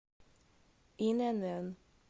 инн